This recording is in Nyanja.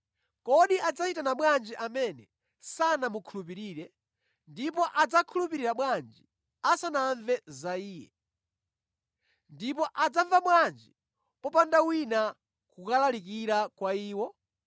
Kodi adzayitana bwanji amene sanamukhulupirire? Ndipo adzakhulupirira bwanji asanamve za Iye? Ndipo adzamva bwanji popanda wina kulalikira kwa iwo?